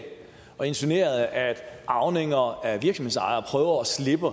og insinuerede at arvinger af virksomhedsejere prøver at slippe